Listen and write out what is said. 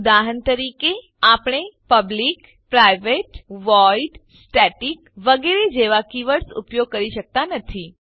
ઉદાહરણ તરીકે આપને પબ્લિક પ્રાઇવેટ વોઇડ સ્ટેટિક વગેરે જેવા કીવર્ડ્સ ઉપયોગ કરી શકતા નથી